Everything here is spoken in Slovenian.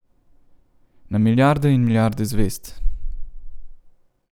Na milijarde in milijarde zvezd.